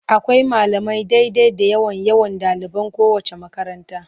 Akwai malamai daidai da yawan yawan ɗaliban kowaceec makaranta.